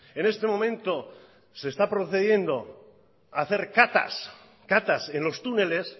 en este momento se está procediendo a hacer catas en los túneles